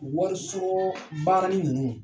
Wari sɔrɔ baarani ninnu